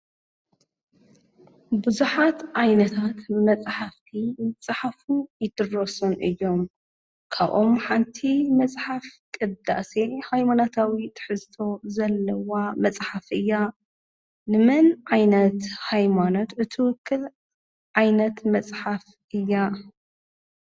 ብዙሓት ዓይነታት መጽሓፍቲ ዝፀሓፉን ይድረሱን እዮም፡፡ ካብኦም ሓንቲ መጽሓፍ ቅዳሴ ሃይማኖታዊ ትሕዝቶ ዘለዋ መጽሓፍ እያ፡፡ ንመን ዓይነት ሃይሞኖት እትውክል ዓይነት መጽሓፍ እያ?